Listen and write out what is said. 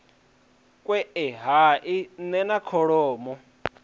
kwae hai nne na kholomo